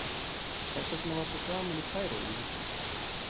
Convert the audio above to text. Þess vegna var svo gaman í Færeyjum um helgina.